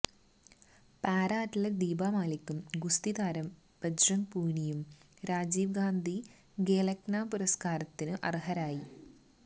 para athlete Deepa മാലിക്കും ഗുസ്തി താരം ബജ്രംഗ് പൂനിയയും രാജീവ് ഗാന്ധി ഖേല്രത്ന പുരസ്കാരത്തിനും അര്ഹരായി